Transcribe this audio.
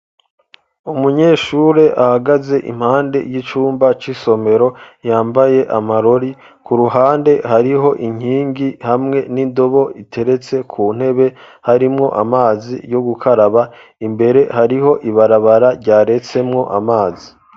Umunyeshure ahagaze impande y'icumba c'isomero yambaye amarore, ku ruhande hariho inkingi hamwe n'indobo iteretse ku ntebe harimwo amazi yo gukaraba, imbere hariho ibarabara ryaretsemwo amazi.